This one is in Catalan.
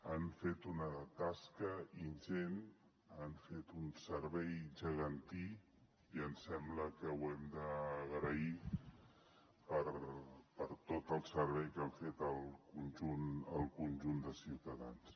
han fet una tasca ingent han fet un servei gegantí i em sembla que ho hem d’agrair per tot el servei que han fet al conjunt de ciutadans